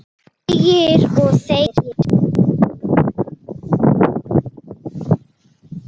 Þegir og þegir.